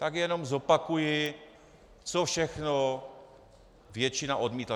Tak jenom zopakuji, co všechno většina odmítla.